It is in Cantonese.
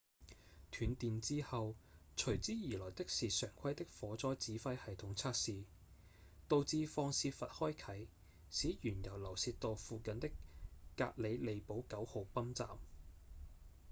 斷電之後隨之而來的是常規的火災指揮系統測試導致放洩閥開啟使原油流洩到附近的格里利堡9號泵站